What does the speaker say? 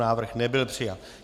Návrh nebyl přijat.